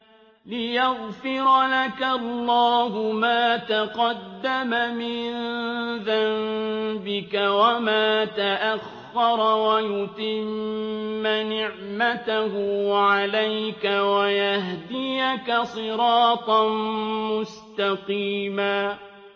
لِّيَغْفِرَ لَكَ اللَّهُ مَا تَقَدَّمَ مِن ذَنبِكَ وَمَا تَأَخَّرَ وَيُتِمَّ نِعْمَتَهُ عَلَيْكَ وَيَهْدِيَكَ صِرَاطًا مُّسْتَقِيمًا